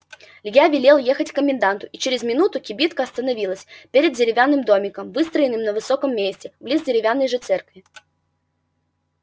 я велел ехать к коменданту и через минуту кибитка остановилась перед деревянным домиком выстроенным на высоком месте близ деревянной же церкви